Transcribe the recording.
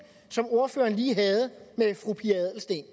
som ordføreren lige havde med fru pia adelsteen